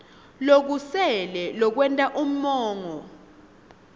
lokusele lokwenta umongo